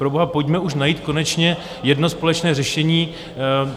Proboha, pojďme už najít konečně jedno společné řešení.